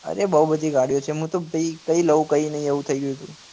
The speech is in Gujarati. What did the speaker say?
અરે બઉ બધી ગાડીઓ છે મુ તો કઈ લઉં કઈ નહિ એવું થઇ ગયું હતું